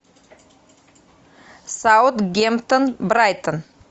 саутгемптон брайтон